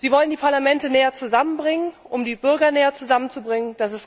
Sie wollen die Parlamente näher zusammenbringen, um die Bürger näher zusammenzubringen.